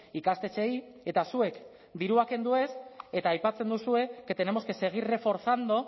ikastetxeei eta zuek dirua kendu ez eta aipatzen duzue que tenemos que seguir reforzando